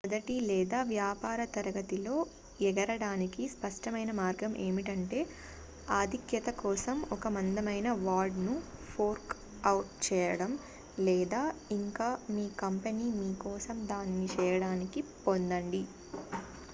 మొదటి లేదా వ్యాపార తరగతిలో ఎగరడానికి స్పష్టమైన మార్గం ఏమిటంటే ఆధిక్యత కోసం ఒక మందమైన వాడ్ ను ఫోర్క్ అవుట్ చేయడం లేదా ఇంకా మీ కంపెనీ మీ కోసం దానిని చేయడానికి పొందండి